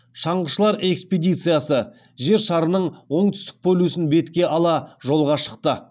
шаңғышылар экспедициясы жер шарының оңтүстік полюсін бетке ала жолға шықты